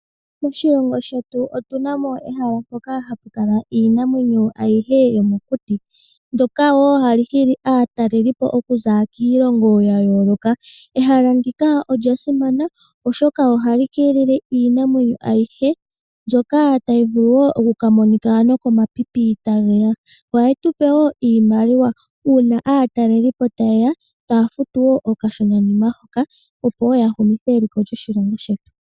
Moshilongo shetu otunamo ehala mpoka hapu kala iinamwenyo ayihe yomokuti ndoka woo hali hili aatalelipo okuza kiilongo ya yooloka. Ehala ndika olya simana oshoka ohali keelele iinankondo ayihe mbyoka tayi vulu okukala yamonika no komapipi tageya . Ohali tupe woo iimaliwa uuna uuna aatalelipo tayeya taya futu okashona hoka keliko lyoshilongo shetu.